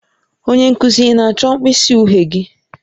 Onye nkuzi, ị na-achọ mkpịsị uhie gị?